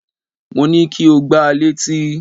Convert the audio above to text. Mo ní kí o gba létí!